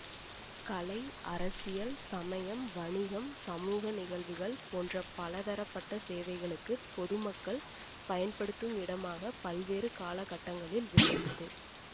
கலை அரசியல் சமயம் வணிகம் சமூக நிகழ்வுகள் போன்ற பல தரப்பட்ட சேவைகளுக்குப் பொது மக்கள் பயன்படுத்தும் இடமாக பல்வேறு காலகட்டங்களில் விளங்கியது